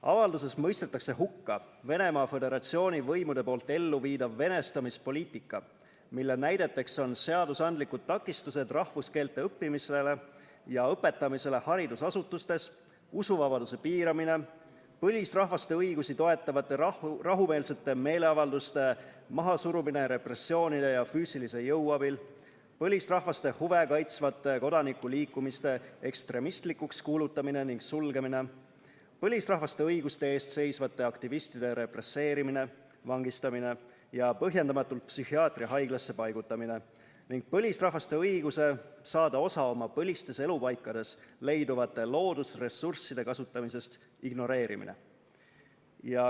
Avalduses mõistetakse hukka Venemaa Föderatsiooni võimude elluviidav venestamispoliitika, mille näideteks on seadusandlikud takistused rahvuskeelte õppimisele ja õpetamisele haridusasutustes, usuvabaduse piiramine, põlisrahvaste õigusi toetavate rahumeelsete meeleavalduste mahasurumine repressioonide ja füüsilise jõu abil, põlisrahvaste huve kaitsvate kodanikuliikumiste ekstremistlikuks kuulutamine ja sulgemine, põlisrahvaste õiguste eest seisvate aktivistide represseerimine, vangistamine ja põhjendamatult psühhiaatriahaiglasse paigutamine ning põlisrahvaste õiguse saada osa oma põlistes elupaikades leiduvate loodusressursside kasutamisest ignoreerimine.